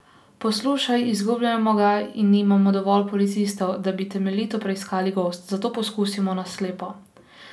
Poslušaj, izgubljamo ga in nimamo dovolj policistov, da bi temeljito preiskali gozd, zato poskusimo na slepo.